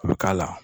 U bɛ k'a la